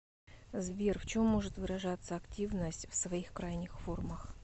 сбер в чем может выражаться активность в своих крайних формах